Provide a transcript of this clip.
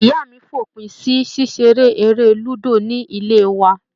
Ìyá mi fòpin sí ṣíṣe eré lúdò ní ilé wa.